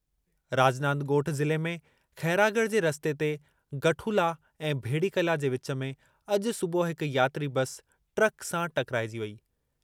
राजनांद ॻोठ ज़िले में खैरागढ़ जे रस्ते ते गठुला ऐं भेड़ीकला जे विच में अॼु सुबुह हिक यात्री बस ट्रक सां टकराइजी वेई।